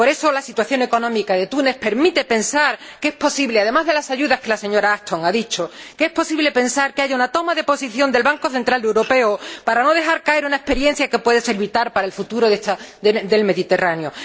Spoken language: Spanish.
Por eso, la situación económica de Túnez permite pensar que —además de las ayudas que la señora Ashton ha mencionado— es posible que haya una toma de posición del Banco Central Europeo para no dejar caer una experiencia que puede ser vital para el futuro del Mediterráneo.